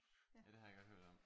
Ja det har jeg godt hørt om